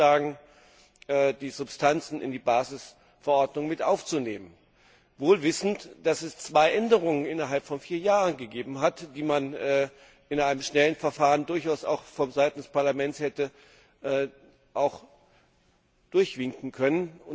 vorgeschlagen, die Substanzen in die Basisverordnung mit aufzunehmen, wohl wissend, dass es zwei Änderungen innerhalb von vier Jahren gegeben hat, die man in einem schnellen Verfahren durchaus auch von Seiten des Parlaments hätte durchwinken können.